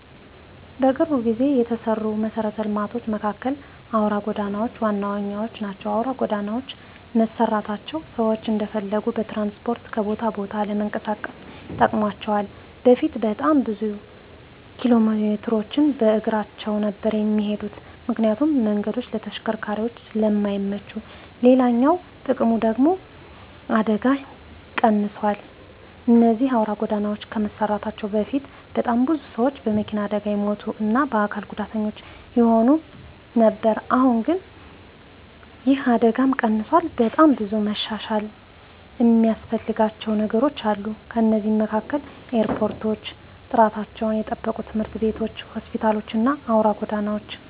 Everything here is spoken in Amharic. በቅርብ ጊዜ የተሰሩ መሰረተ ልማቶች መካከል አውራ ጎዳናዎች ዋነኞቹ ናቸው። አውራ ጎዳናዎች መሰራታቸው ሰዎች እንደፈለጉ በትራንስፖርት ከቦታ ቦታ ለመንቀሳቀስ ጠቅሟቸዋል በፊት በጣም ብዙ ኪሎሜትሮችን በእግራቸው ነበር እሚሄዱት ምክንያቱም መንገዱ ለተሽከርካሪዎች ስለማይመች፤ ሌላኛው ጥቅሙ ደግሙ ደግሞ አደጋዎች ቀንሰዋል እነዚህ አውራ ጎዳናዎች ከመሰራታቸው በፊት በጣም ብዙ ሰዎች በመኪና አደጋ ይሞቱ እና አካል ጉዳተኛ ይሆኑ ነበር አሁን ግን ይህ አደጋም ቀንሷል። በጣም ብዙ መሻሻል እሚያስፈልጋቸው ነገሮች አሉ ከነሱም መካከል ኤርፖርቶች፣ ጥራታቸውን የጠበቁ ትምህርት ቤቶች፣ ሆስፒታሎች እና አውራ ጎዳናዎች።